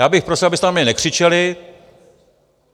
Já bych prosil, abyste na mě nekřičeli.